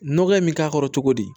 Nɔgɔ in bɛ k'a kɔrɔ cogo di